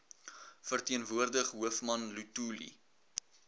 verteenwoordig hoofman luthuli